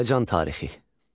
Azərbaycan tarixi.